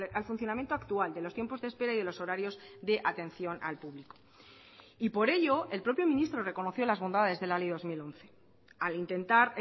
al funcionamiento actual de los tiempos de espera y de los horarios de atención al público y por ello el propio ministro reconoció las bondades de la ley dos mil once al intentar